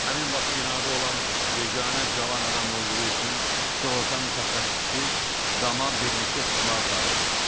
Həmin vaxt binada olan yeganə cavan adam olduğu üçün sığorta mütəxəssisi dama birlikdə çıxmağı xahiş etdi.